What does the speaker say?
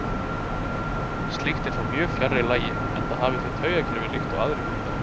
Slíkt er þó mjög fjarri lagi enda hafa þeir taugakerfi líkt og aðrir hundar.